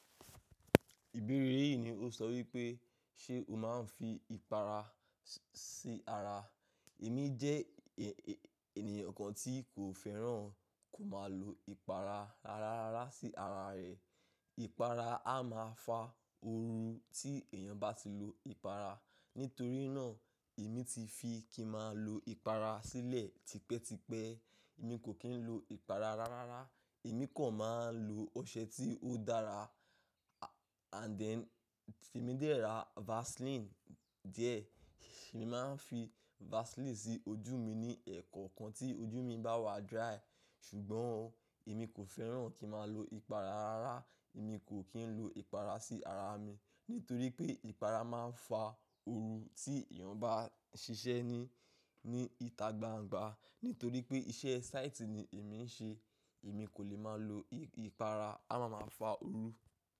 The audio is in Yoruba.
Ìbéèrè yìí ni ó sọ wípé ṣe o máa ń fi ìpara sí ara? Èmi jẹ́ ènìyàn kan tí kò fẹ́ràn kò máa lo ìpara rárará sí ara rẹ̀. Ìpara a máa fa oorun tí èèyàn bá ti lo ìpara. Nítorí náà, èmi ti fi kí n máa lo ìpara sílẹ̀ tipẹ́tipẹ́. Èmi kò kí ń lo ìpara rárára. Èmi kò máa ń lo ọṣẹ tí ó dára and then emi dè ra vaseline díẹ̀. Ṣé ni màá ń fi vaseline sí ojú mi ní ẹ̀koọ̀kan tí ojú mi bá wà dry. Ṣùgbọ́n èmi kò fẹ́ràn kí n máa lo ìpara rárá. Èmi kò kí ń lo ìpara sí ara mi nítorí pé ìpara máa ń fa ooru tí èèyàn bá ṣíṣe ní, ní ìta gbangba. Nítorí pé iṣẹ́ site ni èmi ń ṣe, èmi kò lè máa lo ìpara a máa máa fa ooru.